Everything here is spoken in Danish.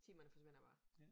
Timerne forsvinder bare